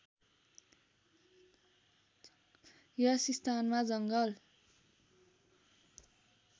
यस स्थानमा जङ्गल